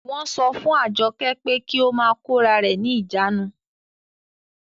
Wọ́n sọ fún Àjọkẹ́ pé kí ó máa kórarẹ̀ ní ìjánu